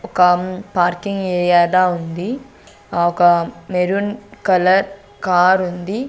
ఒక parking area లా ఉంది ఒక మెరూన్ కలర్ కారు ఉంది.